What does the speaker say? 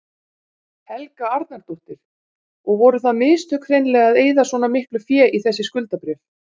Helga Arnardóttir: Og voru það mistök hreinlega að eyða svona miklu fé í þessi skuldabréf?